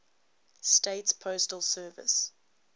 states postal service